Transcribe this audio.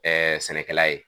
sɛnɛkɛla ye.